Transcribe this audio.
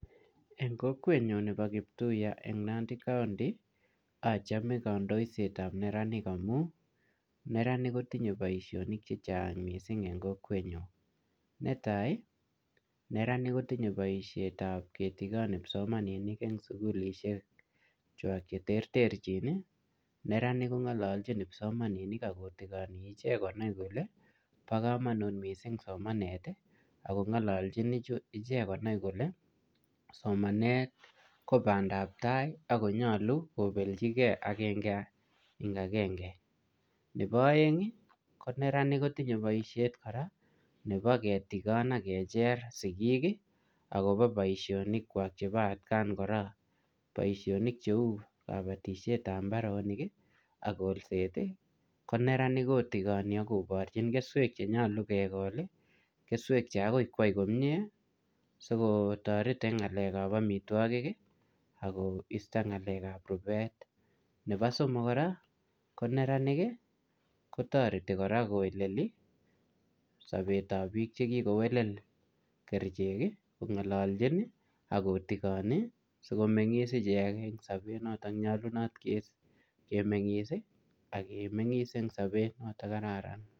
En kokwenyon nebo Kiptuya en Nandi county ochome kondoisetab neranik amu neranik kotinye boisionik chechang kot missing' en kokwenyon, netai neranik kotinye boishetab kitikon kipsomaninik en sugulishek wak cheterterjin ii neranik kongololjin kipsomaninik ak kotigonik ichek konai kole bokomonut missing' somanet ii ak kongolojin konai kole somanet kobandab tai ak konyolu kobeljigee agenge en agenge, nebo oeng ii koneranik kotinye koraa boishet koraa nebo kitikon ak kecher sigik akobo boishonikwak chebo atkan koraa, boisionik cheu kabotishetab imbaret ak kolset ii koneranik kotikoni ak koborjin keswek che nyolu kekol ii keswek che okoik kwai komie sikotoret en ngalekab omitwogik ako isto ngalekab rubet, nebo somok koraa koneranik ii kotoreti koraa koweleli sobetab bik chekikowelel kerichek ii kongololjin ii ak kotikone sikomengis icheket en sobet noton nyolunot kemengis ii ak komengis en sobet noton kararan.